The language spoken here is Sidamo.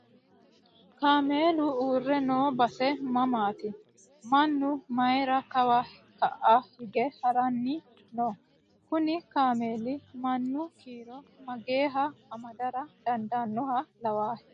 Kaamelu uure noo base mamaati? Mannu mayiira kawa ka'a hige haramayi no? Kuni kaameli mannu kiiro mageeha amadara dandaannoha lawaahe?